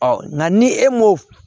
nka ni e m'o